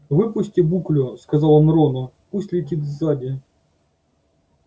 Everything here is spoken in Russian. выпусти буклю сказал он рону пусть летит сзади